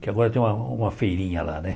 Que agora tem uma uma feirinha lá, né?